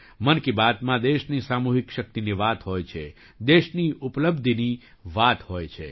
મન કી બાતમાં દેશની સામૂહિક શક્તિની વાત હોય છે દેશની ઉપલબ્ધિની વાત હોય છે